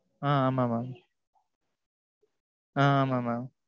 அ ஆமா mam. அ ஆமா mam.